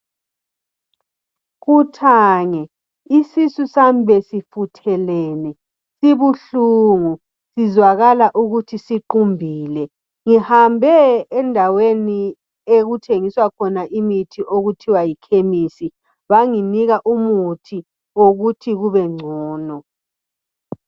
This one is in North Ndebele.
Kuthange isisu sami besifuthelene sibuhlungu sizwakala ukuthi siqumbile ngihambe endaweni okuthengiswa khona imithi okuthiwa yi kemisi banginika umuthi wokuthi kube ngcono.